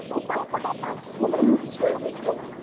প্রকল্পটা পাচ্ছে বা নিচ্ছে জানিস তো?